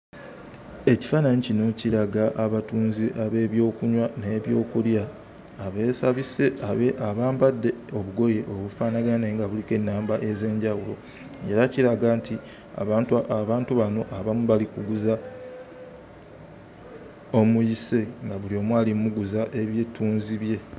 Ekifaananyi kino kiraga abatunzi ab'ebyokunywa n'ebyokulya abeesabise abe abambadde obugoye obufaanagana naye nga buliko ennamba ez'enjawulo era kiraga nti abantu aba abantu bano abamu bali kuguza omuyise nga buli omu ali mmuguza ebyettuzi bye.